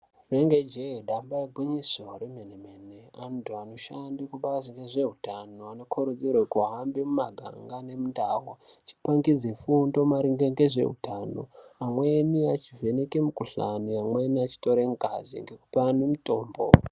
Rinenge je damba igwinyiso remene mene vantu vanoshanda kubazi rezvehutano Vanokurudzirwa kuhamba mumaganga nendaubvachipangidza fundo maringe nezvehutano amweni achivheneka mukuhlani amweni achitora ngazi nekupa antu mitombo.